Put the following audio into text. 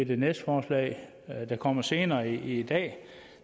det næste forslag der kommer senere i dag